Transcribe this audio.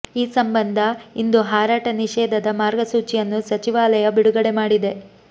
ಈ ಸಂಬಂಧ ಇಂದು ಹಾರಾಟ ನಿಷೇಧದ ಮಾರ್ಗಸೂಚಿಯನ್ನು ಸಚಿವಾಲಯ ಬಿಡುಗಡೆ ಮಾಡಿದೆ